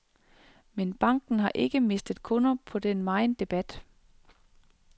Men banken har ikke mistet kunder på den megen debat.